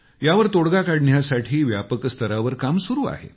यावर तोडगा काढण्यासाठी व्यापक स्तरावर काम सुरु आहे